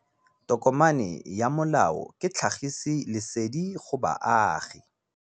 Tokomane ya molao ke tlhagisi lesedi go baagi.